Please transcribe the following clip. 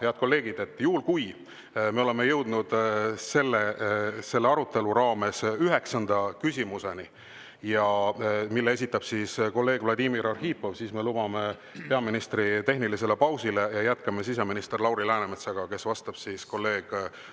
Head kolleegid, juhul kui me jõuame selle arutelu raames üheksanda küsimuseni, mille esitab kolleeg Vladimir Arhipov, siis me lubame peaministri tehnilisele pausile ja jätkame siseminister Lauri Läänemetsaga, kes vastab kolleeg